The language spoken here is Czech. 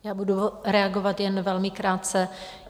Já budu reagovat jen velmi krátce.